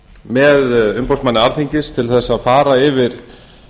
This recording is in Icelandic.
með umboðsmanni alþingis til að fara yfir